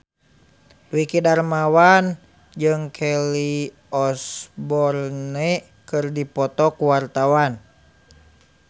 Dwiki Darmawan jeung Kelly Osbourne keur dipoto ku wartawan